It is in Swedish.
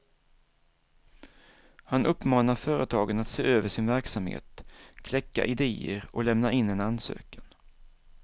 Han uppmanar företagen att se över sin verksamhet, kläcka idéer och lämna in en ansökan.